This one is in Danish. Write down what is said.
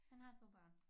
Han har 2 børn